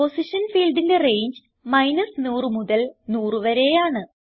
position ഫീൽഡിന്റെ range 100 മുതൽ 100വരെയാണ്